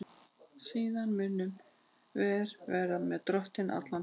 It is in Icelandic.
Og síðan munum vér vera með Drottni alla tíma.